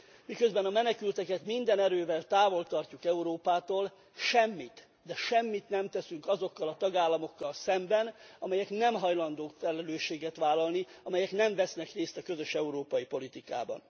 Miközben a menekülteket minden erővel távol tartjuk Európától, semmit, de semmit nem teszünk azokkal a tagálamokkal szemben, amelyek nem hajlandók felelősséget vállalni, amelyek nem vesznek részt a közös európai politikában.